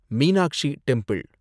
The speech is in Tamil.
மீனாக்ஷி டெம்பிள்